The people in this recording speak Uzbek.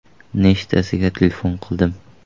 Nechtasiga telefon qildim.